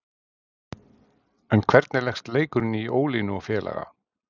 En hvernig leggst leikurinn í Ólínu og félaga?